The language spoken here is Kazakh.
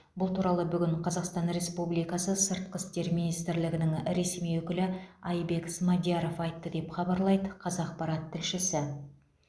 бұл туралы бүгін қазақстан республикасы сыртқы істер министрлігінің ресми өкілі айбек смадияров айтты деп хабарлайды қазақпарат тілшісі